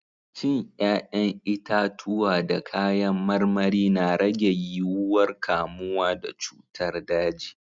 Cin 'ƴa'ƴan itatuwa da kayan marmari na rage yiwuwar kamuwa da cutar daji.